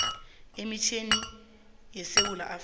emitjhini yesewula afrika